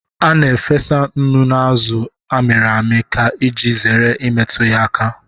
A na-efesa nnu na azụ a mịrị amị ka iji zere imetụ ya aka